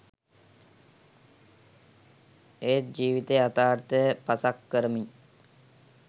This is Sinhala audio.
එත් ජිවිතේ යතාර්ථය පසක් කරමින්